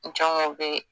Jɔn be